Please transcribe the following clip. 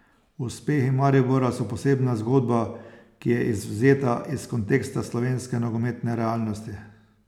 Uspehi Maribora so posebna zgodba, ki je izvzeta iz konteksta slovenske nogometne realnosti.